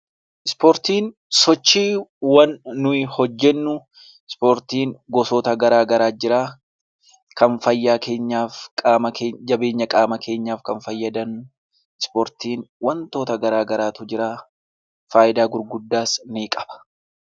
Ispoortiin sochii nuti hojjennu, ispoortiin gosoota garagaraatu jira kan fayyaa keenyaaf jabeenya qaama keenyaaf fayyadan, ispoortiin wantoota garagaraatu jira faayidaa gurguddaas ni qaba